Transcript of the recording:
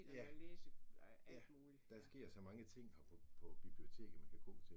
Ja. Ja, der sker så mange ting her på på biblioteket man kan gå til